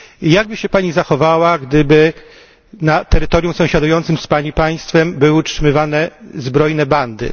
Jak by się pani zachowała, gdyby na terytorium sąsiadującym z pani państwem były utrzymywane zbrojne bandy?